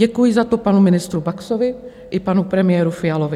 Děkuji za to panu ministru Baxovi i panu premiéru Fialovi.